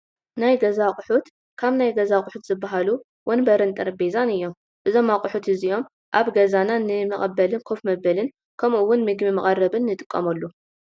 ናይ ገዛ ኣቑሑት፡- ካብ ገዛ ኣቑሑት ዝባሃሉ ወንበርን ጠረጼዛን እዮም፡፡ እዞም ኣቑሑት እዚኦም ኣብ ገዛና ንጋ መቐበልን ከፍ መበልን ከምኡ ውን ምግቢ መቐረብን ይጠቕሙ፡፡